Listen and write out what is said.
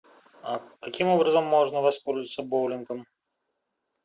а каким образом можно воспользоваться боулингом